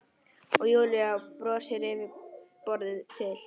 Og Júlía brosir yfir borðið til